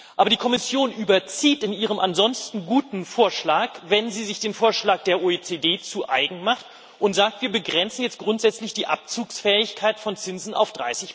Aber die Kommission überzieht in ihrem ansonsten guten Vorschlag, wenn sie sich den Vorschlag der OECD zu Eigen macht und sagt Wir begrenzen jetzt grundsätzlich die Abzugsfähigkeit von Zinsen auf